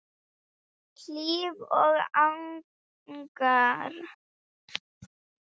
Hlíf og Agnar.